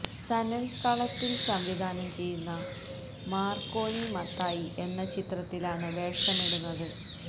സനിൽ കളത്തിൽ സംവിധാനം ചെയ്യുന്ന മാർക്കോണി മത്തായി എന്ന ചിത്രത്തിലാണ് വേഷമിടുന്നത്